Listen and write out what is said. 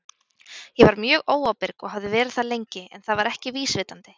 Ég var mjög óábyrg og hafði verið það lengi, en það var ekki vísvitandi.